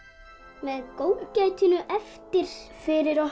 með góðgætinu eftir fyrir okkur